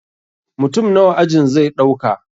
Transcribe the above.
Mutum nawa ajin zai ɗauka